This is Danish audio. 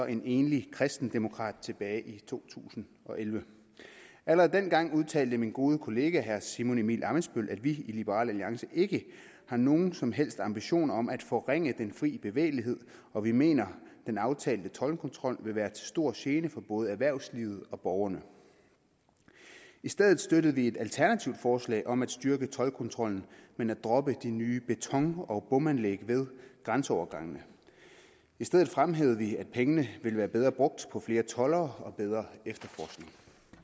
en enlig kristendemokrat tilbage i to tusind og elleve allerede dengang udtalte min gode kollega herre simon emil ammitzbøll at vi i liberal alliance ikke har nogen som helst ambitioner om at forringe den fri bevægelighed og vi mener at den aftalte toldkontrol vil være til stor gene for både erhvervslivet og borgerne i stedet støttede vi et alternativt forslag om at styrke toldkontrollen men at droppe de nye beton og bomanlæg ved grænseovergangene i stedet fremhævede vi at pengene ville være bedre brugt på flere toldere og bedre efterforskning